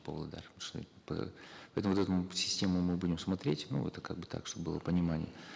павлодар поэтому вот эту систему мы будем смотреть ну это как бы так чтобы было понимание